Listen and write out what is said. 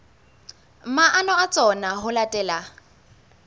maano a tsona ho latela